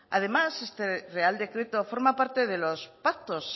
además este real decreto forma parte de los pactos